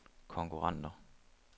konkurrenter